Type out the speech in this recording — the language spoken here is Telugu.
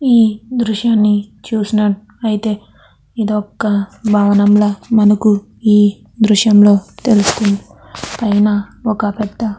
ఈ దృశ్యాన్ని చూసినట్ అయితే ఇదొక భవనంలా మనకి ఈ దృశ్యం లో తెలుస్తుంది. పైన ఒక పెద్ద--